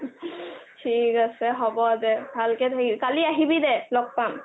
থিক আছে হ'ব দে ভালকে থাকিবি কালি আহিবি দে ল'গ পাম